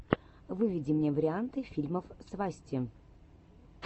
выведи мне варианты фильмов свасти